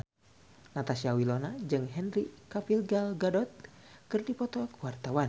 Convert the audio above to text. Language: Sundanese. Natasha Wilona jeung Henry Cavill Gal Gadot keur dipoto ku wartawan